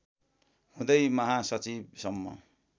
हुँदै महासचिव सम्म